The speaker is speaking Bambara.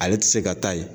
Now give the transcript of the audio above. Ale tɛ se ka taa ye